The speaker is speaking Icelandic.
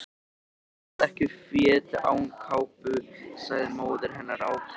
Þú ferð ekki fet án kápu sagði móðir hennar ákveðin.